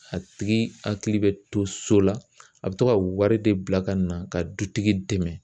A tigi hakili bɛ to so la, a bi to ka wari de bila ka na ka dutigi dɛmɛ